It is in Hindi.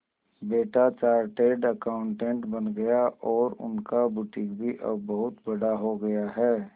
बेटा चार्टेड अकाउंटेंट बन गया और उनका बुटीक भी अब बहुत बड़ा हो गया है